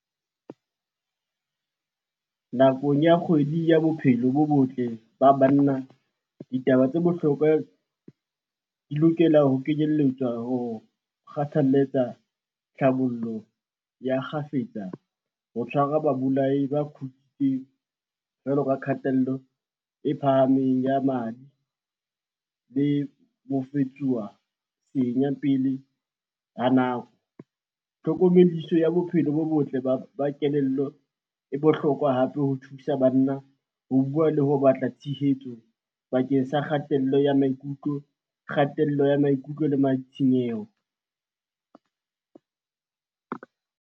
Nakong ya kgwedi ya bophelo bo botle ba banna, ditaba tse bohlokwa di lokela ho kenyelletswa ho kgathaletsa tlhabollo ya kgafetsa, ho tshwara babolai ba kgutsitseng jwalo ka kgatello e phahameng ya madi, le pele ha nako. Tlhokomediso ya bophelo bo botle ba kelello e bohlokwa hape ho thusa banna ho bua le ho batla tshehetso bakeng sa kgatello ya maikutlo, kgatello ya maikutlo le matshenyeho.